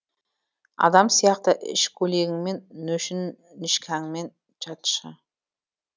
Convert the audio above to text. адам сияқты іш көйлегіңмен нөшнішкәңмен жатшы